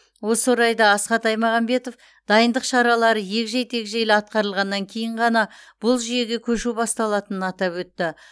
осы орайда асхат аймағамбетов дайындық шаралары егжей тегжейлі атқарылғаннан кейін ғана бұл жүйеге көшу басталатынын атап өтті